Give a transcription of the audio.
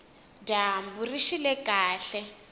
dyambu rixile kahle